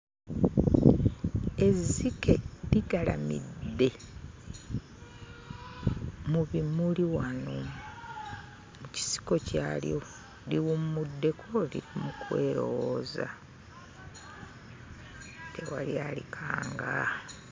Ezzike ligalamidde mu bimuli wano, mu kisiko kyalyo liwummuddeko liri mu kwerowooza, tewali alikanga.